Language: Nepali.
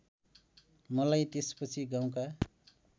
मलाई त्यसपछि गाउँका